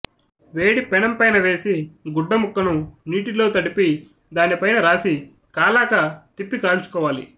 వేడి పెనం పైన వేసి గుడ్డ ముక్కను నీటిలో తడిపి దాని పైన రాసి కాలాక తిప్పి కాల్చుకోవాలి